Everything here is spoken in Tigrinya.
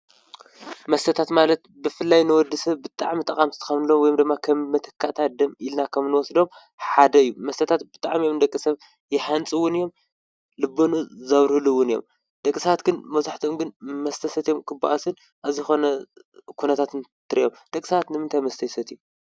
መስተታት ማለት ብፍላይ ንወድ ሰብ ብጣዕሚ ጠቐምቲ ካብ ንብሎም ወይ ደማ ኸም መተካእታት ደም ኢልና ኸም ንወስዶም ሓደ እዩ፡፡ መስተታት ብጣዕሚ እዮም ደቂ ሰብ የሃንፁ እውን እዮም ልበኑኡ ዘብርህሉ ውን እዮም፡፡ ደቂ ሰባት ግን መብዛሕቶኦም ግን መስተ ሰትዮም ክብኣሱን ዝኾነ ኩነታት ትርእዮም ደቂ ሰባት ንምንታይ መስተ ይሰትዩ?